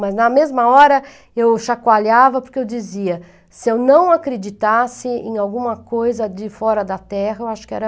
Mas na mesma hora eu chacoalhava porque eu dizia, se eu não acreditasse em alguma coisa de fora da terra, eu acho que era...